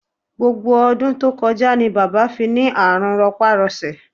Gbogbo ọdún tó kọjá ni bàbá fi ní àrùn rọpárọsẹ̀